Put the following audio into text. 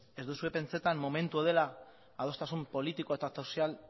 ez duzue pentsatzen momentua dela adostasun politiko eta sozial